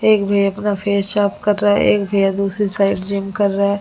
एक भैया अपना फेस साफ कर रहा है एक भैया दूसरी साइड जिम कर रहा है।